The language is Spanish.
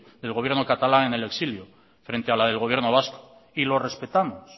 del gobierno catalán en el exilio frente a la del gobierno vasco y lo respetamos